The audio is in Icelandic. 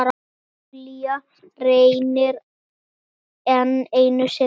Júlía reynir enn einu sinni.